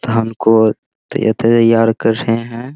धान को तै तैयार कर रहे हैं।